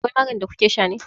Akwai maganin da kukesha ne?